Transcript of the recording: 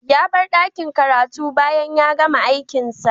Ya bar ɗakin karatu bayan ya gama aikinsa